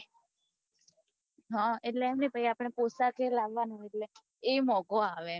હ એટલે એમ ની પહી આપને પોતા ઘરે લવાનું એટલે એ મોગું આવે